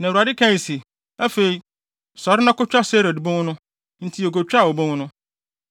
Na Awurade kae se, “Afei, sɔre na kotwa Sered bon no.” Enti yekotwaa obon no.